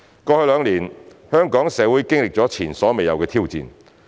過去兩年，香港社會經歷了前所未有的挑戰。